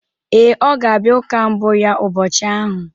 Ee, ọ ga-abịa ụka mbụ ya ụbọchị ahụ.